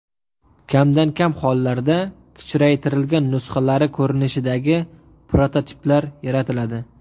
Kamdan kam hollarda kichraytirilgan nusxalari ko‘rinishidagi prototiplar yaratiladi.